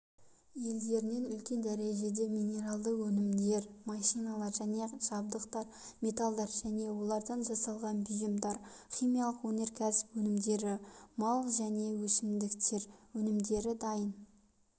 елдерінен үлкен дәрежеде минералды өнімдер машиналар және жабдықтар металдар және олардан жасалған бұйымдар химиялық өнеркәсіп өнімдері мал және өсімдіктер өнімдері дайын